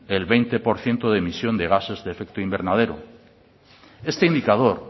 del veinte por ciento de emisión de gases de efecto invernadero este indicador